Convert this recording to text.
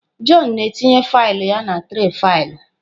Jọn na-etinye faịlụ ya na tray faịlụ.